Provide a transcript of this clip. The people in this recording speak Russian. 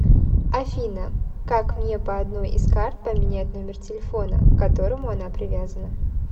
афина как мне по одной из карт поменять номер телефона к которому она привязана